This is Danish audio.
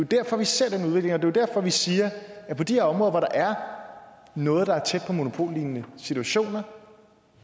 derfor vi ser den udvikling og det er derfor vi siger at på de her områder hvor der er noget der er tæt på monopollignende situationer